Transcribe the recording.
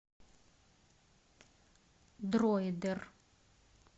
дроидер